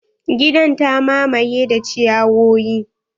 Gidan ta mamaye da ciyawoyi.